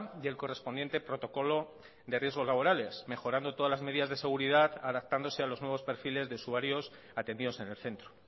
y el correspondiente protocolo de riesgos laborales mejorando todas las medidas de seguridad adaptándose a los nuevos perfiles de usuarios atendidos en el centro